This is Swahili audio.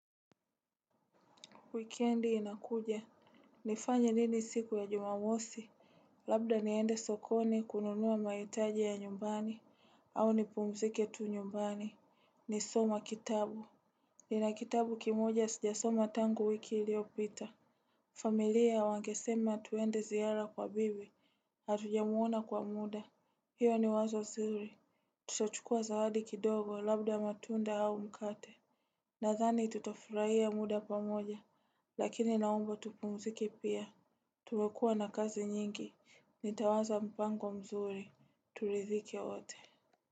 Wikendi inakuja. Nifanye nini siku ya jumamosi. Labda niende sokoni kununua mahitaji ya nyumbani. Au nipumzike tu nyumbani nisome kitabu nina kitabu kimoja sijasoma tangu wiki iliyopita. Familia wangesema tuende ziara kwa bibi. Hatujamuona kwa muda. Hiyo ni wazo zuri. Tutachukua zawadi kidogo labda matunda au mkate. Nadhani tutafurahia muda pamoja, lakini naomba tupumzike pia. Tumekuwa na kazi nyingi, nitawaza mpango mzuri, turidhike wote.